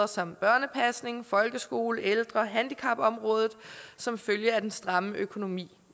som børnepasning folkeskole ældre og handicapområdet som følge af den stramme økonomi